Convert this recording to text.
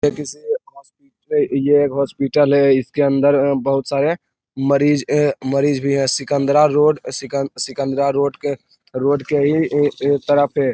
ये किसी हॉस्पिटल ये हॉस्पिटल है इसके अंदर अ बहुत सारे मरीज ए मरीज भी है सिकंदरा रोड सिकंदरा सिकंदरा सिकंदरा रोड के इ रोड के ही तरफ --